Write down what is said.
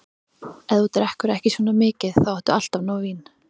Ef þú drekkur ekki svona mikið, þá áttu alltaf nóg vín.